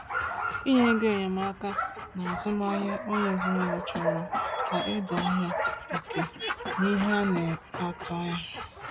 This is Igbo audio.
Inye ego enyemaka n’azụmahịa onye ezinụlọ chọrọ ka a doo anya oke na ihe a na-atụ anya.